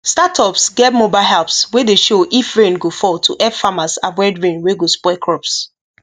startups get mobile apps wey dey show if rain go fall to help farmers avoid rain wey go spoil crops